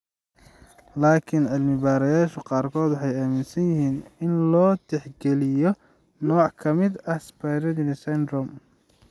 Laakiin cilmi-baarayaasha qaarkood waxay aaminsan yihiin in loo tixgeliyo nooc ka mid ah Sjogren's syndrome.